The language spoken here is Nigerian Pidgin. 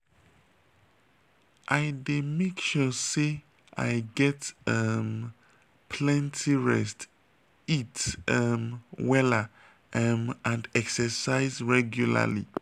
i dey make sure say i get um plenty rest eat um wella um and exercise regularly.